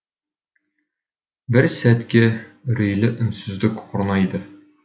бір сәтке үрейлі үнсіздік орнайды